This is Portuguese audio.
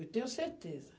Eu tenho certeza.